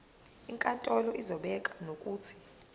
inkantolo izobeka nokuthi